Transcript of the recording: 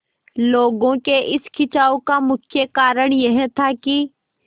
लोगों के इस खिंचाव का मुख्य कारण यह था कि